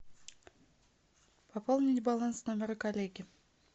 пополнить баланс номера коллеги